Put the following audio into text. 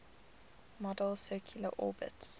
model's circular orbits